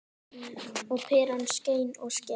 Og peran skein og skein.